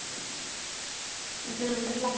ਜਲੰਧਰ ਲਾਗੇ,